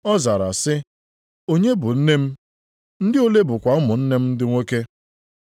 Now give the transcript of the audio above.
Ọ zara sị, “Onye bụ nne m, ndị ole bụkwa ụmụnne m ndị nwoke?”